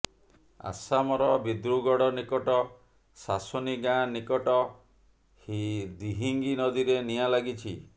ଆସାମର ଦିବ୍ରୁଗଡ ନିକଟ ସାସୋନି ଗାଁ ନିକଟ ଦିହିଙ୍ଗ ନଦୀରେ ନିଆଁ ଲାଗିଛି